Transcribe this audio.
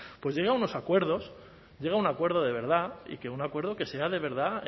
pues llegue a unos acuerdos llegue a un acuerdo de verdad y que un acuerdo que sea de verdad